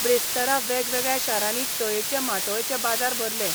ब्रेस्तारा वेगवेगळ्या शारांनी तयेचे माटोळेचे बाजार भरले.